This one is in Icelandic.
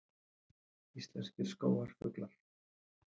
Íslenskir skógarfuglar